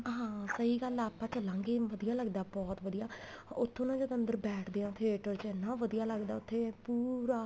ਹਾਂ ਸਹੀ ਗੱਲ ਏ ਆਪਾਂ ਚਲਾਂਗੇ ਵਧੀਆ ਲੱਗਦਾ ਬਹੁਤ ਵਧੀਆ ਉੱਥੋ ਨਾ ਜਦ ਅੰਦਰ ਬੈਠਦੇ ਆ theater ਚ ਇੰਨਾ ਵਧੀਆ ਲੱਗਦਾ ਉੱਥੇ ਪੂਰਾ